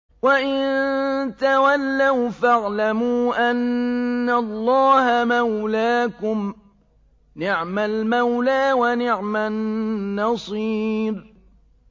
وَإِن تَوَلَّوْا فَاعْلَمُوا أَنَّ اللَّهَ مَوْلَاكُمْ ۚ نِعْمَ الْمَوْلَىٰ وَنِعْمَ النَّصِيرُ